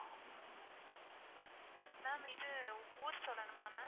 ma'am இது ஊரு சொல்லனுமா ma'am?